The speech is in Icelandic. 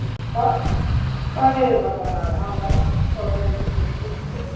Það yrði þá bara að hafa það þó það reyndist honum dýrkeypt.